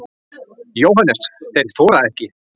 JÓHANNES: Þeir þora ekki.